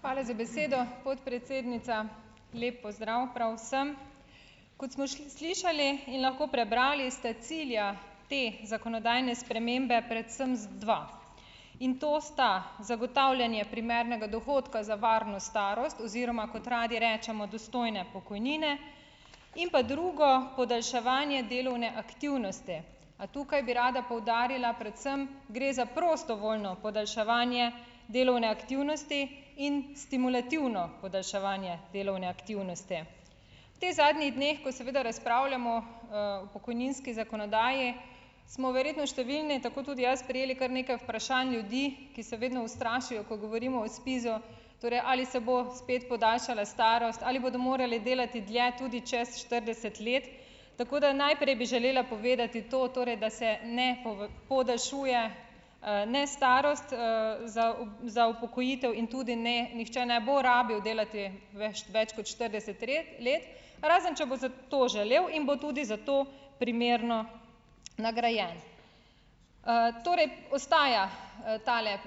Hvala za besedo, podpredsednica, lep pozdrav prav vsem. Kot smo slišali in lahko prebrali, ste cilja te zakonodajne spremembe predvsem dva, in to sta zagotavljanje primernega dohodka za varno starost oziroma kot radi rečemo dostojne pokojnine, in pa drugo, podaljševanje delovne aktivnosti. A tukaj bi rada poudarila, predvsem gre za prostovoljno podaljševanje delovne aktivnosti in stimulativno podaljševanje delovne aktivnosti. Teh zadnjih dneh, ko seveda razpravljamo, o pokojninski zakonodaji smo verjetno številni, tako tudi jaz, prejeli kar nekaj vprašanj ljudi, ki se vedno ustrašijo, ko govorimo o SPIZ-u, torej ali se bo spet podaljšala starost ali bodo morali delati dlje tudi čez štirideset let. Tako da najprej bi želela povedati to, torej da se ne podaljšuje, ne starost, za za upokojitev in tudi, ne, nihče ne bo rabil delati več kot štirideset red let, razen če bo za to želel in bo za to primerno nagrajen. torej ostaja, tale,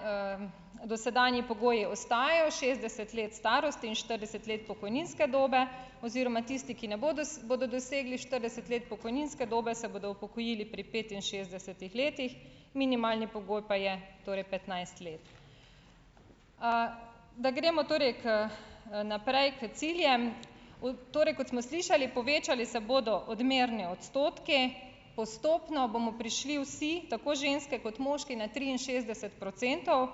dosedanji pogoji ostajajo šestdeset let starosti in štirideset let pokojninske dobe oziroma tisti, ki ne bodo bodo dosegli štirideset let pokojninske dobe, se bodo upokojili pri petinšestdesetih letih, minimalni pogoj pa je torej petnajst let. da gremo torej k naprej k ciljem, torej kot smo slišali, povečali se bodo odmerni odstotki, postopno bomo prišli vsi, tako ženske kot moški, na triinšestdeset procentov,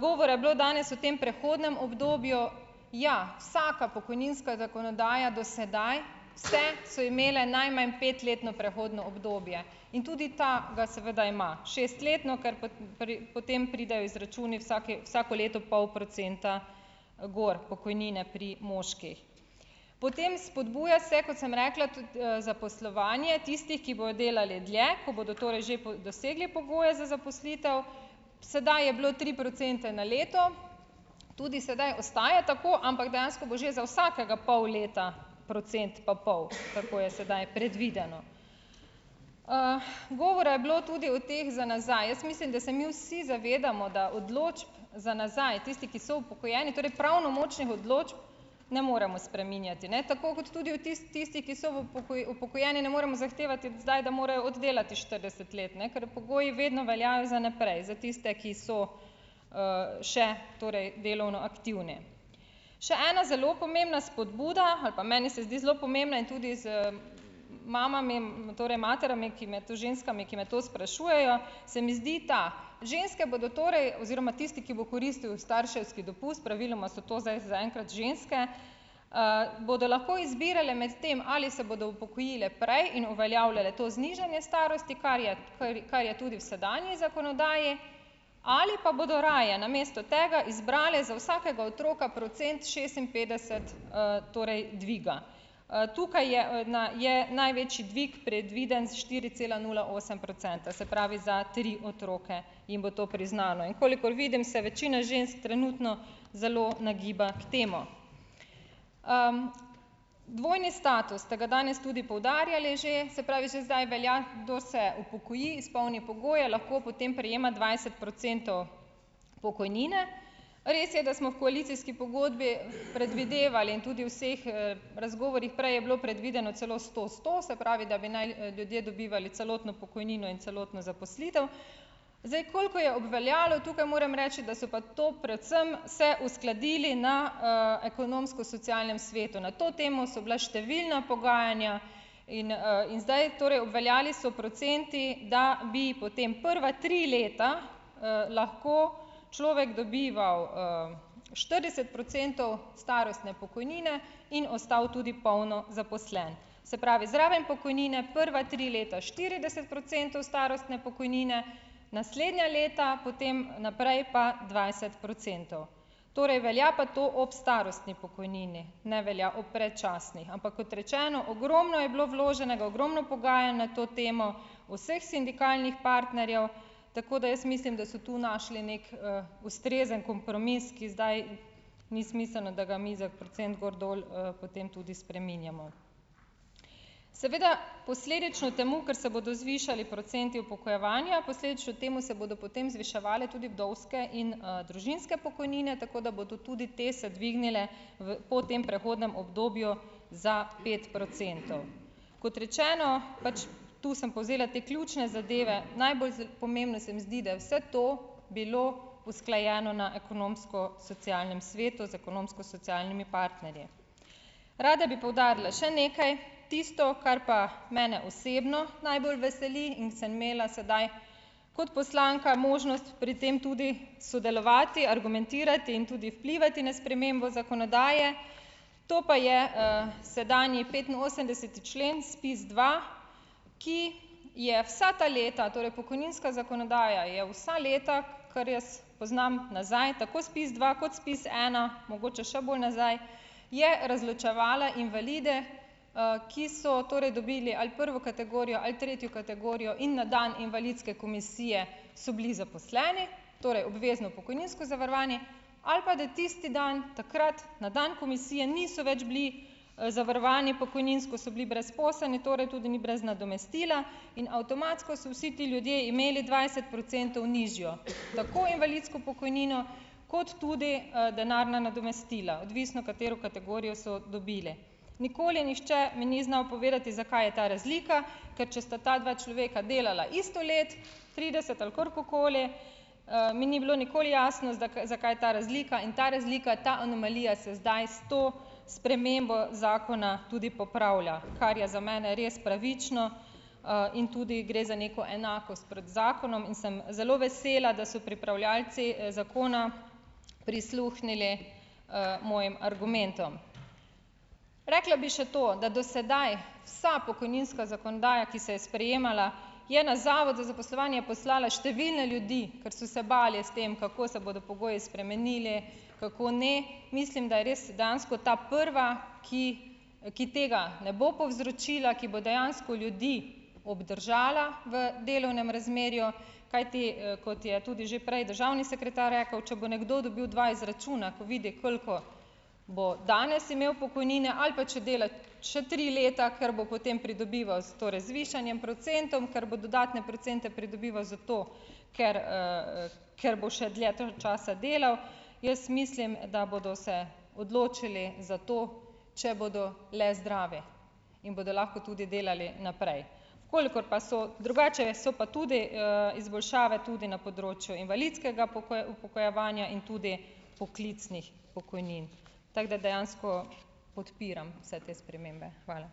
govora je bilo danes o tem prehodnem obdobju, ja, vsaka pokojninska zakonodaja do sedaj, vse so imele najmanj petletno prehodno obdobje, in tudi ta ga seveda ima, šestletno, kar pa potem pridejo izračuni vsak vsako leto pol procenta, gor pokojnine pri moških, potem spodbuja se, kot sem rekla, tudi, zaposlovanje tistih, ki bodo delali dlje, ko bodo torej že po dosegli pogoje za zaposlitev, sedaj je bilo tri procente na leto, tudi sedaj ostaja tako, ampak dejansko bo že za vsakega pol leta procent pa pol, tako je sedaj predvideno, govora je bilo tudi o teh za nazaj, jaz mislim, da se mi vsi zavedamo, da odločb za nazaj, tisti, ki so upokojeni, torej pravnomočnih odločb ne moremo spreminjati, ne, tako kot tudi v tisti ki si v upokojeni ne moremo zahtevati zdaj, da morajo oddelati štirideset let, ne, ker pogoji vedno veljajo za naprej za tiste, ki so, še torej delovno aktivni, še ena zelo pomembna spodbuda, ali pa meni se zdi zelo pomembna, in tudi s mama mi, torej mati mi je, ki mi je to ženskami, ki me to sprašujejo, se mi zdi, ta ženske bodo torej oziroma tisti, ki bo koristil starševski dopust, praviloma so to zdaj zaenkrat ženske, bodo lahko izbirale med tem, ali se bodo upokojile prej in uveljavljale to znižanje starosti, kar je, kar kar je tudi v sedanji zakonodaji, ali pa bodo raje namesto tega izbrale za vsakega otroka procent šestinpetdeset, torej dviga, tukaj je, na je največji dvig predviden s štiri cela nula osem procenta, se pravi za tri otroke, in bo to priznano, in kolikor vidim, se večina žensk trenutno zelo nagiba k temu, dvojni status ste ga danes tudi poudarjali že, se pravi že zdaj velja, kdo se upokoji izpolni pogoje, lahko potem prejema dvajset procentov pokojnine, res je, da smo v koalicijski pogodbi predvidevali in tudi vseh, razgovorih, prej je bilo predvideno celo sto-sto, se pravi, da bi naj ljudje dobivali celotno pokojnino in celotno zaposlitev, zdaj koliko je obveljalo, tukaj moram reči, da so pa to predvsem se uskladili na, ekonomsko-socialnem svetu, na to temo so bila številna pogajanja in, in zdaj torej obveljali so procenti, da bi potem prva tri leta, lahko človek dobival, štirideset procentov starostne pokojnine in ostal tudi polno zaposlen, se pravi, zraven pokojnine prva tri leta štirideset procentov starostne pokojnine, naslednja leta potem naprej pa dvajset procentov, torej velja pa to ob starostni pokojnini, ne velja ob predčasni, ampak kot rečeno, ogromno je bilo vloženega, ogromno pogajanj na to temo v vseh sindikalnih partnerjev, tako da jaz mislim, da so tu našli neki, ustrezen kompromis, ki zdaj ni smiselno, da ga mi za procent gor, dol, potem tudi spreminjamo, seveda, posledično temu, ker se bodo zvišali procenti upokojevanja, posledično temu se bodo potem zviševale tudi vdovske in, družinske pokojnine, tako da bodo tudi te se dvignile v po tem prehodnem obdobju za pet procentov, kot rečeno, pač tu sem povzela te ključne zadeve, najbolj pomembno se mi zdi, da je vse to bilo usklajeno na ekonomsko-socialnem svetu z ekonomsko-socialnimi partnerji, rada bi poudarila še nekaj, tisto, kar pa mene osebno najbolj veseli in sem imela sedaj kot poslanka možnost pri tem tudi sodelovati, argumentirati in tudi vplivati na spremembo zakonodaje, to pa je, sedanji petinosemdeseti člen SPIZ dva, ki je vsa ta leta, torej pokojninska zakonodaja, je vsa leta, ker jaz poznam nazaj tako SPIZ dva kot SPIZ ena, mogoče še bolj nazaj, je razločevala invalide, ki so torej dobili ali prvo kategorijo ali tretjo kategorijo in na dan invalidske komisije so bili zaposleni, torej obvezno pokojninsko zavarovanje ali pa da tisti dan takrat na dan komisije niso več bili zavarovani pokojninsko, so bili brezposelni, torej tudi ni brez nadomestila in avtomatsko, so vsi ti ljudje imeli dvajset procentov nižjo tako invalidsko pokojnino kot tudi, denarna nadomestila, odvisno katero kategorijo so dobili, nikoli nihče mi ni znal povedati, zakaj je ta razlika, ker če sta ta dva človeka delala isto let, trideset ali kakorkoli, mi ni bilo nikoli jasno, zakaj ta razlika, in ta razlika, ta anomalija se zdaj s to spremembo zakona tudi popravlja, kar je za mene res pravično, in tudi gre za neko enakost pred zakonom in sem zelo vesela, da so pripravljavci zakona prisluhnili, mojim argumentom, rekla bi še to, da do sedaj vsa pokojninska zakonodaja, ki se je sprejemala, je na zavod za zaposlovanje je poslala številne ljudi, ker so se bali s tem, kako se bodo pogoji spremenili, kako ne, mislim, da res dejansko ta prva, ki ki tega ne bo povzročila, ki bo dejansko ljudi obdržala v delovnem razmerju, kajti, kot je tudi že prej državni sekretar rekel, če bo nekdo dobil dva izračuna, ko vidi, koliko bo danes imel pokojnine, ali pa če dela še tri leta, ker bo potem pridobival torej z višanjem procentov, ker bo dodatne procente pridobival, zato ker, ker bo še dlje tam časa delal, jaz mislim, da bodo se odločili za to, če bodo le zdravi in bodo lahko tudi delali naprej, kolikor pa so drugače, so pa tudi, izboljšave tudi na področju invalidskega upokojevanja in tudi poklicnih pokojnin, tako da dejansko podpiram vse te spremembe. Hvala.